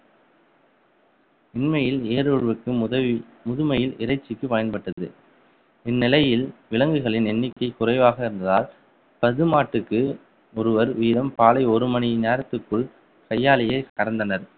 இம்மையில் வேறு ஒருவருக்கும் உதவி முதுமையில் இறைச்சிக்கு பயன்பட்டது இந்நிலையில் விலங்குகளின் எண்ணிக்கை குறைவாக இருந்ததால் பசுமாட்டுக்கு ஒருவர் வீதம் பாலை ஒரு மணி நேரத்திற்குள் கையாலேயே கறந்தனர்.